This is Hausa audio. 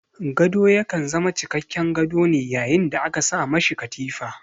Gado ya kan zama cikakken gado ne yayin da aka sa ma shi katifa.